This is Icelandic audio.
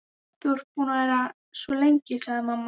Þú ert búin að vera svo lengi, sagði mamma.